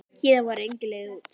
Héðan var engin leið út.